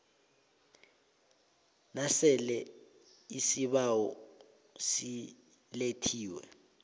nasele isibawo silethiwe